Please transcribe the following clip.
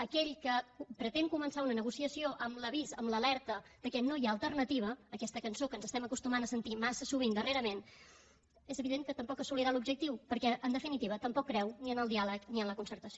aquell que pretén començar una negociació amb l’avís amb l’alerta que no hi ha alternativa aquesta cançó que ens estem acostumant a sentir massa sovint darrerament és evident que tampoc assolirà l’objectiu perquè en definitiva tampoc creu ni en el diàleg ni en la concertació